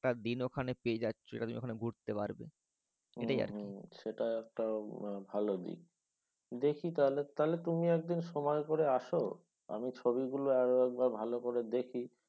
একটা দিন তুমি পেয়ে যাচ্ছ তুমি ওখানে ঘুরতে পারবে। এটাই আর কি। হ্যাঁ হ্যাঁ সেটা একটা ভালো দিক। দেখি তাহলে। তাহলে তুমি একদিন সময় করে আসো আমি ছবিগুলো আরও একবার ভালো করে দেখি